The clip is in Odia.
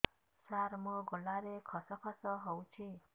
ସାର ମୋ ଗଳାରେ ଖସ ଖସ ହଉଚି